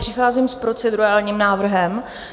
Přicházím s procedurálním návrhem.